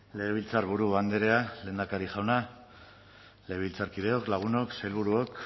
legebiltzarburu andrea lehendakari jauna legebiltzarkideok lagunok sailburuok